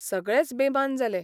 सगळेच बेमान जाले.